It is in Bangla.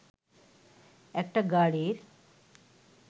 একটা গাড়ির